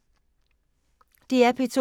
DR P2